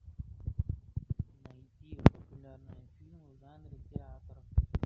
найти популярные фильмы в жанре театр